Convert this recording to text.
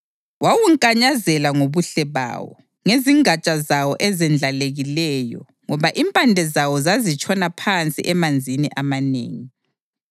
Wawunkanyazela ngobuhle bawo, ngezingatsha zawo ezendlalekileyo, ngoba impande zawo zazitshona phansi emanzini amanengi.